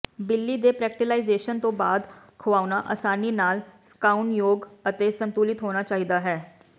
ਬਿੱਲੀ ਦੇ ਪ੍ਰੈਕਟੀਲਾਈਜ਼ੇਸ਼ਨ ਤੋਂ ਬਾਅਦ ਖੁਆਉਣਾ ਆਸਾਨੀ ਨਾਲ ਸੁਕਾਉਣਯੋਗ ਅਤੇ ਸੰਤੁਲਿਤ ਹੋਣਾ ਚਾਹੀਦਾ ਹੈ